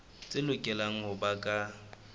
tse lokelang ho ba ka